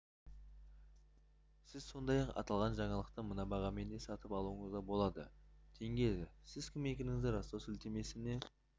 сіз сондай-ақ аталған жаңалықты мына бағамен де сатып алуыңызға болады тенге сіз кім екендігіңізді растау сілтемесіне